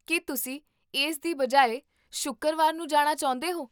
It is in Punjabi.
ਕੀ ਤੁਸੀਂ ਇਸ ਦੀ ਬਜਾਏ ਸ਼ੁੱਕਰਵਾਰ ਨੂੰ ਜਾਣਾ ਚਾਹੁੰਦੇ ਹੋ?